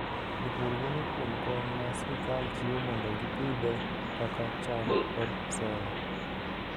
Jopur geno kuom kony ma sirkal chiwo mondo gipidhe kaka cham kod soya.